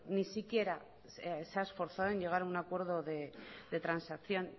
ni siquiera se ha esforzado en llegar a un acuerdo de transacción